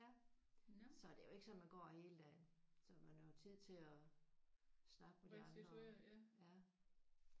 Ja ja. Så det er jo ikke sådan at man går hele dagen. Så man har jo tid til at snakke med de andre